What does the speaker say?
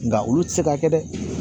Nka olu tɛ se ka kɛ dɛ